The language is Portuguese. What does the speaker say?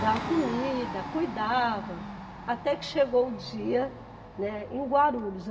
dava comida, cuidava, até que chegou o dia, né, em Guarulhos.